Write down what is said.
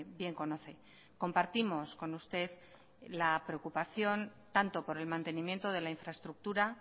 bien conoce compartimos con usted la preocupación tanto por el mantenimiento de la infraestructura